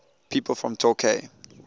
people from torquay